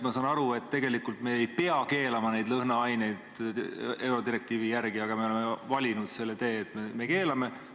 Ma saan aru, et tegelikult me eurodirektiivi järgi ei peaks lõhnaaineid keelama, aga me oleme valinud selle tee, et me keelame.